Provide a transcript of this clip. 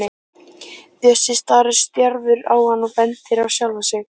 Bjössi starir stjarfur á hann og bendir á sjálfan sig.